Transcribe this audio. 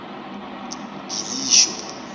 gilisho